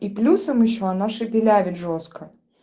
и плюсом ещё она шепелявит жёстко